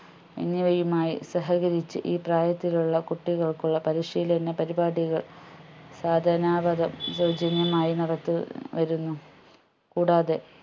എന്നിവയുമായി സഹകരിച്ച് ഈ പ്രായത്തിലുള്ള കുട്ടികൾക്കുള്ള പരിശീലന പരിപാടികൾ സാധനാ വകം സൗജന്യമായി നടത്തി വരുന്നു കൂടാതെ